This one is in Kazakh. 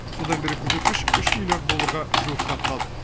содан бері көрсеткіш үш миллиард долларға жуықтап қалды